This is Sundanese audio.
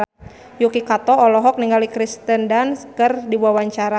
Yuki Kato olohok ningali Kirsten Dunst keur diwawancara